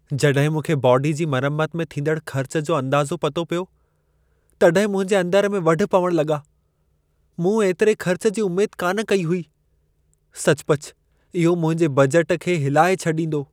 जड॒हिं मूंखे बाॅडी जी मरम्मत में थींदड़ु ख़र्चु जो अंदाज़ो पतो पियो तड॒हिं मुंहिंजे अंदर में वढ पवणु लॻा। मूं एतिरे खर्चु जी उमेद कान कई हुई. सचुपचु इहो मुंहिंजे बजट खे हिलाए छॾींदो।